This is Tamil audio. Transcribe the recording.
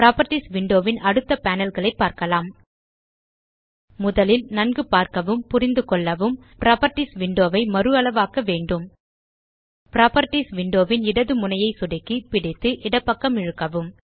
புராப்பர்ட்டீஸ் விண்டோ ன் அடுத்த பேனல் களை பார்க்கலாம் முதலில் நன்கு பார்க்கவும் புரிந்துகொள்ளவும் புராப்பர்ட்டீஸ் விண்டோ ஐ மறுஅளவாக்க வேண்டும் புராப்பர்ட்டீஸ் விண்டோ ன் இடது முனையை சொடுக்கி பிடித்து இடப்பக்கம் இழுக்கவும்